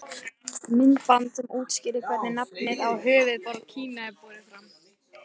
Myndband sem útskýrir hvernig nafnið á höfuðborg Kína er borið fram.